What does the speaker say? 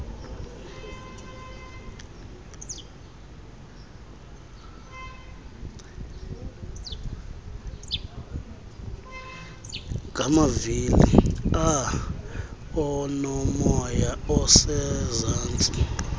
ngamavili aonomoya osezantsi